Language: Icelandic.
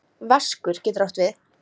Vaskur getur átt við